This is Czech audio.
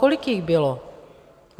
Kolik jich bylo?